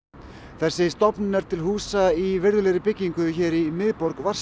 þessi stofnun er til húsa í virðulegri byggingu hér í miðborg